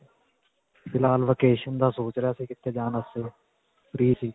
ਫਿਲਹਾਲ vacation ਦਾ ਸੋਚ ਰਿਹਾ ਸੀ ਕਿੱਥੇ ਜਾਣ ਵਾਸਤੇ .